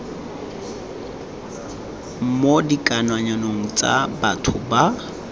mo dikakanyong tsa batho ba